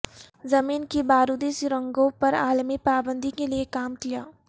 زمین کی بارودی سرنگوں پر عالمی پابندی کے لئے کام کیا